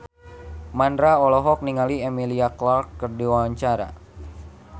Mandra olohok ningali Emilia Clarke keur diwawancara